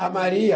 A Maria?